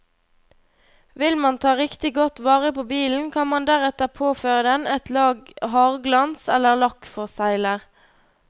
Vil man ta riktig godt vare på bilen, kan man deretter påføre den et lag hardglans eller lakkforsegler.